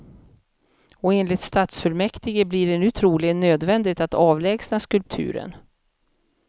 Och enligt stadsfullmäktige blir det nu troligen nödvändigt att avlägsna skulpturen.